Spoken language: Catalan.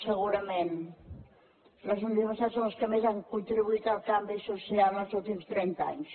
segurament les universitats són els que més han contribuït al canvi social els últims trenta anys